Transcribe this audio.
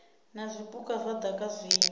na zwipuka zwa daka zwinzhi